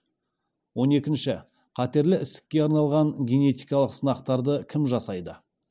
он екінші қатерлі ісікке арналған генетикалық сынақтарды кім жасайды